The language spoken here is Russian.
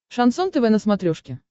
шансон тв на смотрешке